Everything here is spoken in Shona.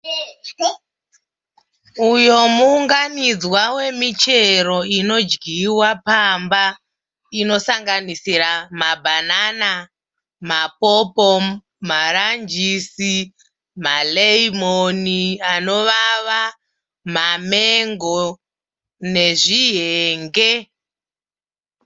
Uyo muwunganidzwa wemichero inodjiwa pamba inosanganidzira ma banana napopo ma nanjisi malemoni anovava mamengo nezvihenge.